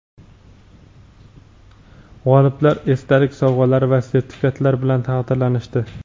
G‘oliblar esdalik sovg‘alari va sertifikatlar bilan taqdirlanishdi.